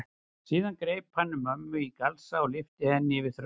Síðan greip hann um mömmu í galsa og lyfti henni yfir þröskuldinn.